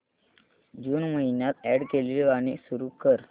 जून महिन्यात अॅड केलेली गाणी सुरू कर